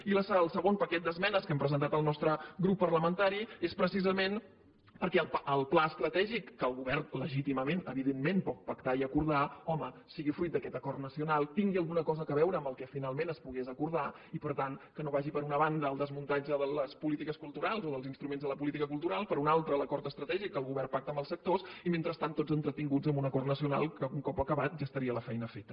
i el segon paquet d’esmenes que hem presentat el nostre grup parlamentari és precisament perquè el pla estratègic que el govern legítimament evidentment pot pactar i acordar home sigui fruit d’aquest acord nacional tingui alguna cosa a veure amb el que finalment es pogués acordar i per tant que no vagi per una banda el desmuntatge de les polítiques culturals o dels instruments de la política cultural per un altre l’acord estratègic que el govern pacta amb els sectors i mentrestant tots entretinguts amb un acord nacional que un cop acabat ja estaria la feina feta